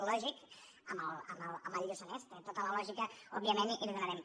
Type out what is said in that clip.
lògic amb el lluçanès té tota la lògica òbviament i li donarem